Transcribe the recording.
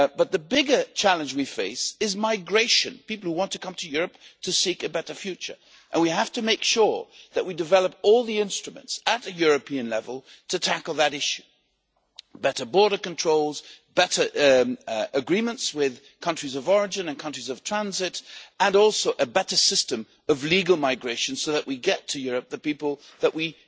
The bigger challenge we face is migration people who want to come to Europe to seek a better future and we have to make sure that we develop all the instruments at a European level to tackle that issue better border controls, better agreements with countries of origin and countries of transit and also a better system of legal migration so that we get to Europe the people that we